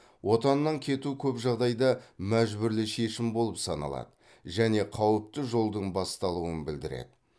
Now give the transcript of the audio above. отаннан кету көп жағдайда мәжбүрлі шешім болып саналады және қауіпті жолдың басталуын білдіреді